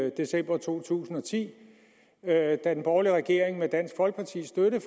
i december to tusind og ti da den borgerlige regering med dansk folkepartis støtte